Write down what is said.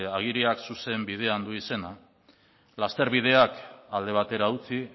agiriak zuzen bidean du izena lasterbideak alde batera utzi